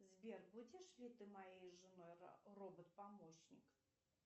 сбер будешь ли ты моей женой робот помощник